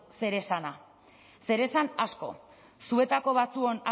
zeresana zeresan asko zuetako batzuon